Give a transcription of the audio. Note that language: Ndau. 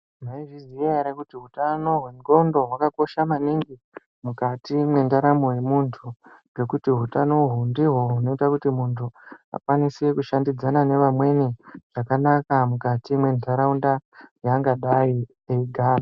Maizviziya here kuti utano hwendxondo hwakakosha maningi mwukati mwendaramo yemuntu ngekuti hutano uhu ndihwo hunoita kuti muntu akwanise kushandidzana nevamweni zvakanaka mwukati mwentaraunda yaangadai eyigara.